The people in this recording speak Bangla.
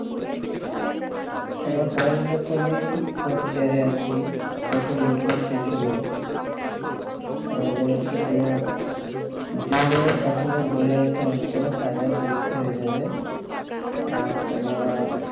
আমার পড়ালেখা তো আমি fourth year এ আছি তাও তো main course শেষ হলো আমাদের হচ্ছে তোমার june এর প্রথমে july তে হয়তো final পরীক্ষা হয়ে যাবে আর তোমার